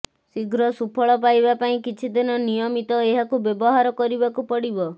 ଶୀଘ୍ର ସୁଫଳ ପାଇବା ପାଇଁ କିଛିଦିନ ନିୟମିତ ଏହାକୁ ବ୍ୟବହାର କରିବାକୁ ପଡ଼ିବ